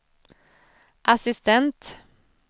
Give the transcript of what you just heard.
assistent